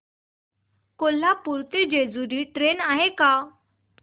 कोल्हापूर ते जेजुरी ट्रेन आहे का